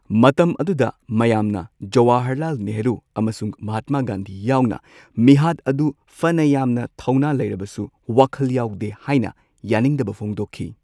ꯃꯇꯝ ꯑꯗꯨ ꯃꯌꯥꯝꯅ ꯖꯋꯥꯍꯔꯂꯥꯜ ꯅꯦꯍꯔꯨ ꯑꯃꯁꯨꯡ ꯃꯍꯥꯠꯃꯥ ꯒꯥꯟꯙꯤ ꯌꯥꯎꯅ ꯃꯤꯍꯥꯠ ꯑꯗꯨꯕꯨ ꯐꯅ ꯌꯥꯝꯅ ꯊꯧꯅ ꯂꯩꯔꯕꯁꯨ ꯋꯥꯈꯜ ꯌꯥꯎꯗꯦ ꯍꯥꯏꯅ ꯌꯥꯅꯤꯡꯗꯕ ꯐꯣꯡꯗꯣꯛꯈꯤ꯫